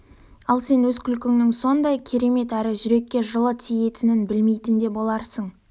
ал сен өз күлкіңнің сондай керемет әрі жүрекке жылы тиетінін білмейтін де боларсың